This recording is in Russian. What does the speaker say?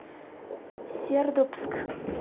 сердобск